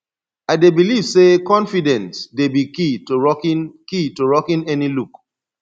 i dey believe say confidence dey be key to rocking key to rocking any look